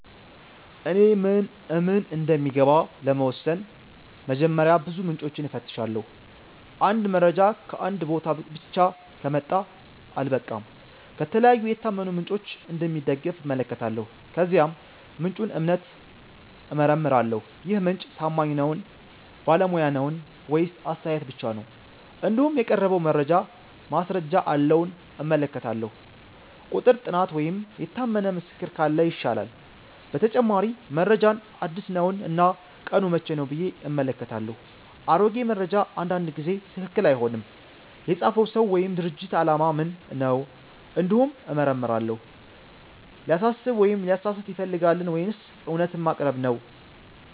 እኔ ምን እምን እንደሚገባ ለመወሰን በመጀመሪያ ብዙ ምንጮችን እፈትሻለሁ። አንድ መረጃ ከአንድ ቦታ ብቻ ከመጣ አልበቃም፤ ከተለያዩ የታመኑ ምንጮች እንደሚደገፍ እመለከታለሁ። ከዚያም የምንጩን እምነት እመረምራለሁ -ይህ ምንጭ ታማኝ ነዉን ?ባለሙያ ነዉን ?ወይስ አስተያየት ብቻ ነው ?እንዲሁም የቀረበው መረጃ ማስረጃ አለዉን እመለከታለሁ፤ ቁጥር፣ ጥናት ወይም የታመነ ምስክር ካለ ይሻላል። በተጨማሪ መረጃው አዲስ ነውን እና ቀኑ መቼ ነው ብዬ እመለከታለሁ፤ አሮጌ መረጃ አንዳንድ ጊዜ ትክክል አይሆንም። የፃፈው ሰው ወይም ድርጅት አላማ ምን ነው እንዲሁም እመረምራለሁ፤ ሊያሳስብ ወይም ሊያሳስት ይፈልጋልን ወይስ እውነትን ማቅረብ ነው